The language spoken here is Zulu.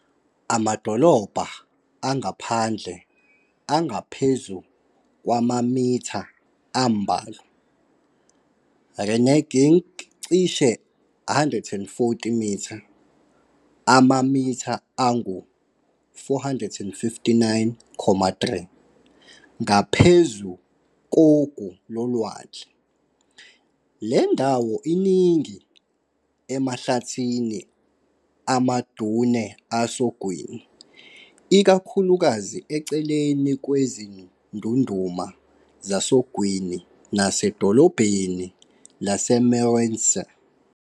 Amadolobhana angaphandle angaphezu kwamamitha ambalwa, Reneging cishe 140m, amamitha angu-459.3, ngaphezu kogu lolwandle. Le ndawo iningi emahlathini ama-dune asogwini, ikakhulukazi eceleni kwe-zindunduma zasogwini nasedolobheni lase-Meerensee.